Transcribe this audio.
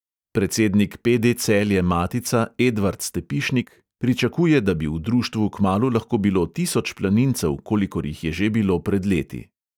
Predsednik PD celje-matica edvard stepišnik pričakuje, da bi v društvu kmalu lahko bilo tisoč planincev, kolikor jih je že bilo pred leti.